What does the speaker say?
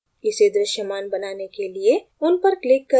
इसे दृश्यमान बनाने के लिए उन पर click करें और एक ओर लाएं